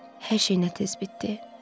Hər şey nə tez bitdi.